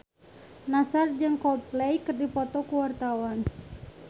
Nassar jeung Coldplay keur dipoto ku wartawan